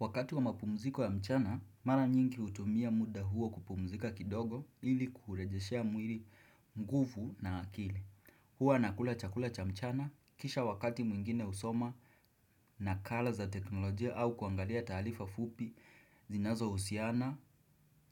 Wakati wa mapumziko ya mchana, mara nyingi hutumia muda huo kupumzika kidogo ili kurejeshea mwili nguvu na akili. Huwa nakula chakula cha mchana kisha wakati mwingine husoma nakala za teknolojia au kuangalia taarifa fupi zinazohusiana